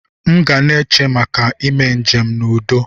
Mu gana eche maka ime njem na udo.